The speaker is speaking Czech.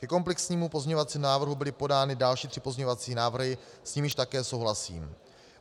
Ke komplexnímu pozměňovacímu návrhu byly podány další tři pozměňovací návrhy, s nimiž také souhlasím.